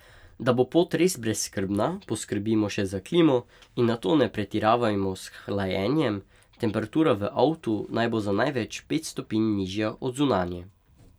Da bo pot res brezskrbna, poskrbimo še za klimo in nato ne pretiravajmo s hlajenjem, temperatura v avtu naj bo za največ pet stopinj nižja od zunanje.